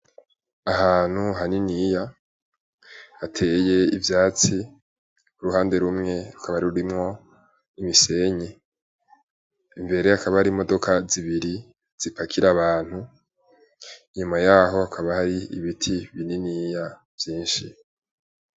Ahantu haniniya hateye ivyatsi uruhande rumwe rukaba rurimwo imisenyi imbere hakaba hari imodoka zibiri zipakira abantu inyuma yaho hakaba hari ibiti bininiya vyinshi.